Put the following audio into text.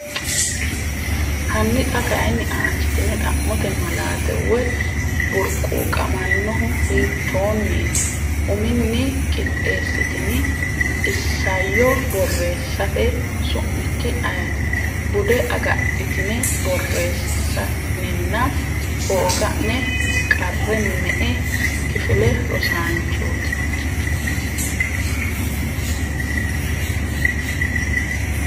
Hanni xa kayinni aanchitine xa’mote malaate Way burquuqamannohu hiitoonniiti? uminni qixxeessitini isayyo borreessate • Su’mikki ayeeti? bude agadhitine borreessa’nenna hooga’ne • Qarre me”e kifile rosaanchooti?